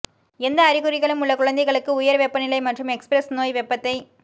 எந்த அறிகுறிகளும் உள்ள குழந்தைகளுக்கு உயர் வெப்பநிலை மற்றும் எக்ஸ்பிரஸ் நோய் வெப்பத்தை